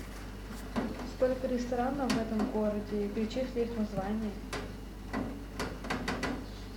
сколько ресторанов в этом городе перечисли их названия